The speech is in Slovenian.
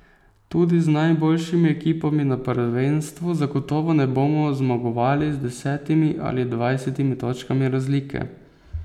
Tudi z najboljšimi ekipami na prvenstvu zagotovo ne bomo zmagovali z desetimi ali dvajsetimi točkami razlike.